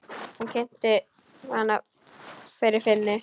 Hún kynnti hana fyrir Finni.